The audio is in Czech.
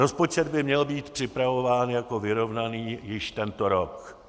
Rozpočet by měl být připravován jako vyrovnaný již tento rok.